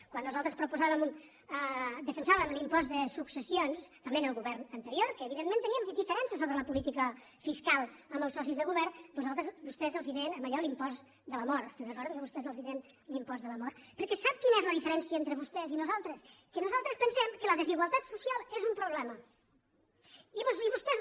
quan nosaltres defensàvem l’impost de successions també en el govern anterior que evidentment teníem diferències sobre la política fiscal amb els socis de govern vostès en deien d’allò l’impost de la mort se’n recorden que vostès en deien l’impost de la mort perquè sap quina és la diferència entre vostès i nosaltres que nosaltres pensem que la desigualtat social és un problema i vostès